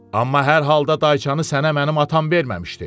Amma hər halda dayçanı sənə mənim atam verməmişdi.